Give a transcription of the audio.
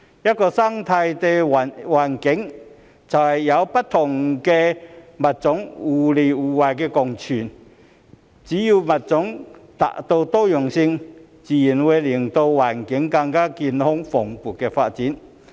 一個生態環境，就是有不同的物種互惠互利共存，只要物種達到多樣性，自然會令環境更加健康蓬勃地發展。